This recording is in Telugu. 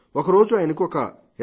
ఒకరోజు ఆయనకు ఒక ఎస్